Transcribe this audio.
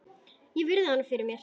Ég virði hana fyrir mér.